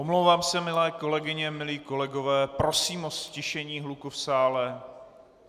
Omlouvám se, milé kolegyně, milí kolegové, prosím o ztišení hluku v sále!